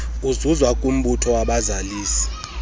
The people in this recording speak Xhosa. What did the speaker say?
ezuzwa kumbutho wabazalisi